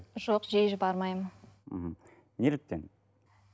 жоқ жиі бармаймын мхм неліктен